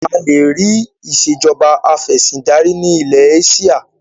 A lè rì Ìsèjọba afẹ̀sindarí ni ilẹ̀ Éṣíà